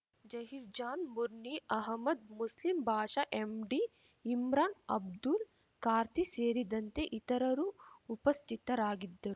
Zaheer Jan ಮುರ್ನೀ Ahmed Muslim Basha MD Imran Abdul ಕಾರ್ದಿ ಸೇರಿದಂತೆ ಇತರರು ಉಪಸ್ಥಿತರಾಗಿದ್ದರು